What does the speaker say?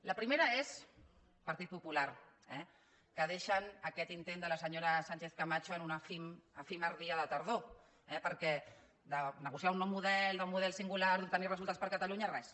la primera és partit popular eh que deixen aquest intent de la senyora sánchez camacho en un efímer dia de tardor eh perquè de negociar un nou model d’un model singular d’obtenir resultats per a catalunya res